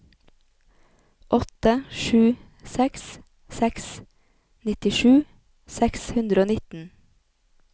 åtte sju seks seks nittisju seks hundre og nitten